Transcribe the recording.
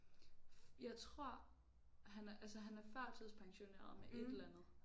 Jeg tror han er altså han er førtidspensioneret med et eller andet